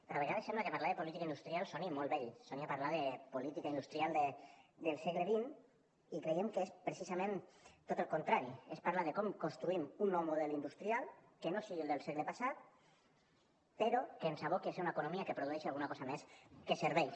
però a vegades sembla que parlar de política industrial soni molt vell soni a parlar de política industrial del segle xxcreiem que és precisament tot el contrari és parlar de com construïm un nou model industrial que no sigui el del segle passat però que ens aboqui a ser una economia que produeixi alguna cosa més que serveis